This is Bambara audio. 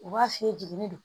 U b'a f'i ye jiginni don